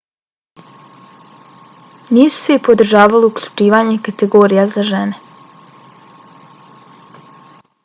nisu svi podržavali uključivanje kategorija za žene